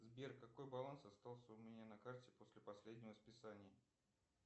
сбер какой баланс остался у меня на карте после последнего списания